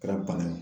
Kɛra bana ye